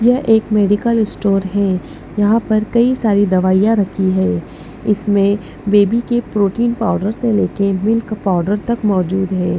यह एक medical store है यहां पर कई सारी दवाइयां रखी है इसमें बेबी के प्रोटीन पाउडर से लेके मिल्क पाउडर तक मौजूद हैं।